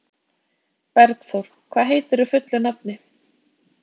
Bergþór, hvað heitir þú fullu nafni?